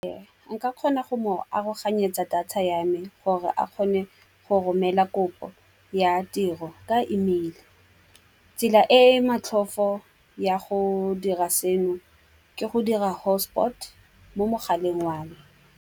Ee, nka kgona go mo aroganyetsa data ya me gore a kgone go romela kopo ya tiro ka email. Tsela e E matlhofo ya go dira seno ke go dira hotspot mo mogaleng wa me.